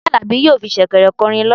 Tope alabi yọọ fí shekèrè korin lola.